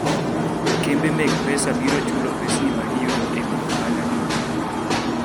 kembe meg pesa biro chulo pesni magiyudo ei wi ohala ni ji.